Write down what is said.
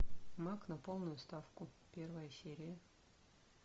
маг на полную ставку первая серия